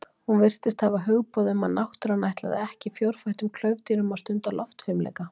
Hún virtist hafa hugboð um að náttúran ætlaði ekki fjórfættum klaufdýrum að stunda loftfimleika.